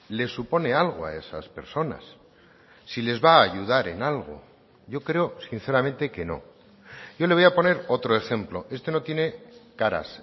le supone algo a esas personas si les va a ayudar en algo yo creo sinceramente que no yo le voy a poner otro ejemplo este no tiene caras